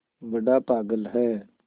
बड़ा पागल है